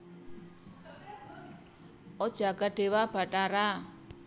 O jagat dewa batara